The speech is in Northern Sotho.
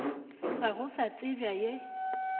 ga go sa tsebja ye